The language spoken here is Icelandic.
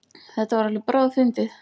Þetta var alveg bráðfyndið!